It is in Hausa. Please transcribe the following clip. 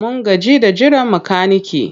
Mun gaji da jiran makanike.